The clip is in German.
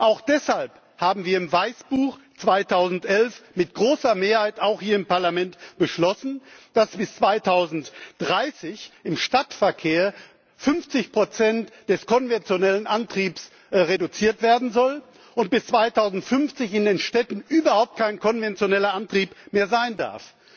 Auch deshalb haben wir im Weißbuch 2011 mit großer Mehrheit hier im Parlament beschlossen, dass bis 2030 im Stadtverkehr 50 des konventionellen Antriebs reduziert werden sollen und bis 2050 in den Städten überhaupt kein konventioneller Antrieb mehr sein darf.